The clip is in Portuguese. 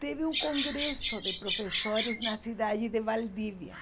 teve um congresso de professores na cidade de Valdivia.